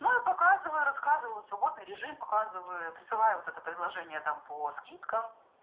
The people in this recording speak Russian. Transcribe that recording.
ну я показываю рассказываю свободный режим показываю присылаю вот это предложение там по скидкам